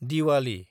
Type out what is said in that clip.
Diwali